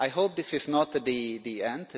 I hope this is not the